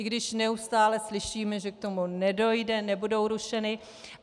I když neustále slyšíme, že k tomu nedojde, nebudou rušeny.